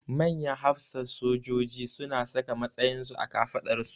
Manyan hafsan sojoji su na saka matsayin su a kafaɗarsu